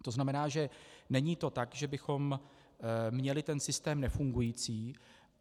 To znamená, že to není tak, že bychom měli ten systém nefungující.